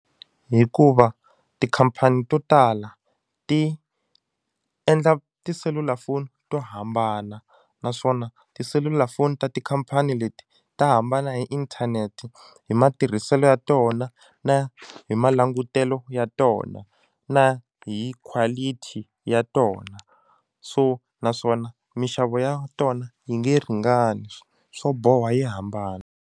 Hikuva tikhampani to tala ti endla tiselulafoni to hambana naswona tiselulafoni ta tikhampani leti ta hambana hi inthanete hi matirhiselo ya tona na hi malangutelo ya tona na hi quality ya tona so naswona minxavo ya tona yi nge ringani swo boha yi hambana.